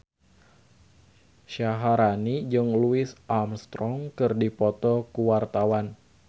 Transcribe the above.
Syaharani jeung Louis Armstrong keur dipoto ku wartawan